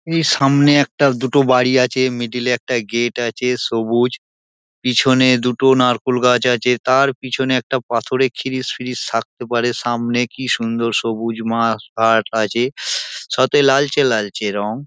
এই সামনে একটা দুটো বাড়ি আছে মিডিল এ একটা গেট আছে সবুজ পিছনে দুটো নারকোল গাছ আছে তার পিছনে একটা পাথরের খিরিশ ফিরিশ থাকতে পারে সামনে কী সুন্দর সবুজ মাঠঘাট আছে সাথে লালচে লালচে রং।